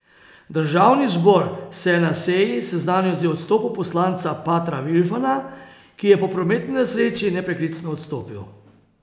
Državni zbor se je na seji seznanil z odstopom poslanca Patra Vilfana, ki je po prometni nesreči nepreklicno odstopil.